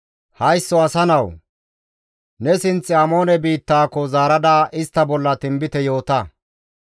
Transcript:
«Haysso asa nawu! Ne sinth Amoone biittaako zaarada istta bolla tinbite yoota.